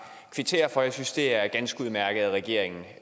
kvittere for jeg synes det er ganske udmærket at regeringen